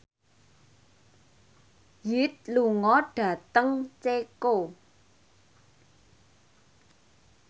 Hyde lunga dhateng Ceko